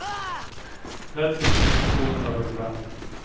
trettio tusen tvåhundrafyrtiofem